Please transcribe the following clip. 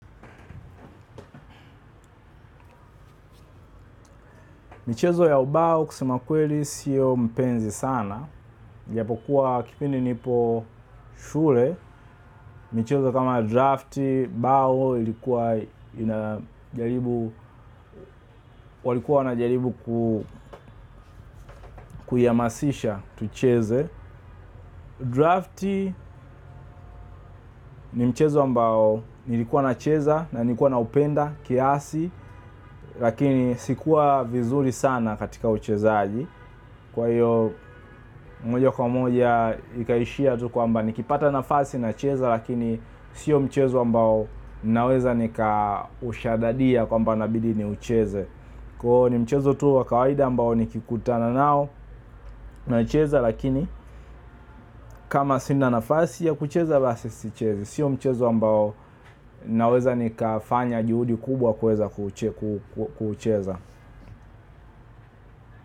Michezo ya ubao kusema kweli siyo mpenzi sana. Ijapokuwa kipindi nipo shule. Michezo kama drafti, bao ilikuwa inajaribu walikuwa wanajaribu kuiamasisha tucheze. Drafti ni mchezo ambao ilikuwa nacheza na nilikuwa na upenda kiasi. Lakini si kuwa vizuri sana katika uchezaji. Kwa hiyo moja kwa moja ikaishia tu kwamba nikipata nafasi nacheza lakini siyo mchezo ambao naweza nika ushadadia kwamba nabidii ni ucheze kwa hiyo ni mchezo tu wakawaida ambao nikikutana nao naicheza lakini kama sina nafasi ya kucheza basi sichezi. Siyo mchezo mbao naweza nika fanya juhudi kubwa kweza kucheza.